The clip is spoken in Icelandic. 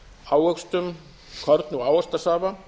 ávöxtum korni og ávaxtasafa